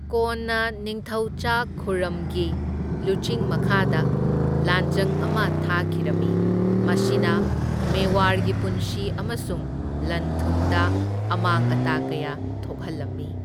ꯀꯣꯟꯅ ꯅꯤꯡꯊꯧꯆꯥ ꯈꯨꯔꯝꯒꯤ ꯂꯨꯆꯤꯡ ꯃꯈꯥꯗ ꯂꯥꯟꯖꯪ ꯑꯃ ꯊꯥꯈꯤꯔꯝꯃꯤ, ꯃꯁꯤꯅ ꯃꯦꯋꯥꯔꯒꯤ ꯄꯨꯟꯁꯤ ꯑꯃꯁꯨꯡ ꯂꯟ ꯊꯨꯝꯗ ꯑꯃꯥꯡ ꯑꯇꯥ ꯀꯌꯥ ꯊꯣꯛꯍꯜꯂꯝꯃꯤ꯫